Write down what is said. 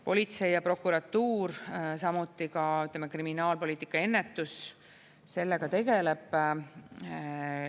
Politsei ja prokuratuur, samuti ka kriminaalpoliitika ennetus sellega tegeleb.